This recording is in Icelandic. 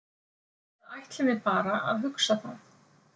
Eða ætlum við bara að hugsa það?